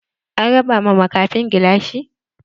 An raba ma makafin gilashi?